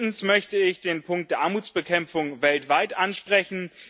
Drittens möchte ich den Punkt der Armutsbekämpfung weltweit ansprechen.